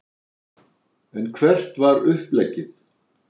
En hvert var uppleggið?